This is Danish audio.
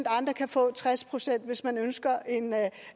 andre kan få tres procent hvis man ønsker en